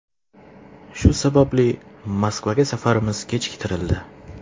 Shu sababli Moskvaga safarimiz kechiktirildi.